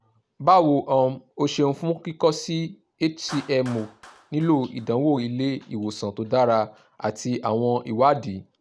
bawo um o ṣeun fun kikọ si hcmo nilo idanwo ile-iwosan to dara ati awọn iwadii